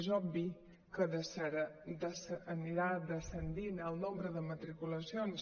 és obvi que anirà descendint el nombre de matriculacions